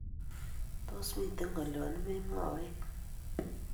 Tos, miten ngolyo nimemwawech?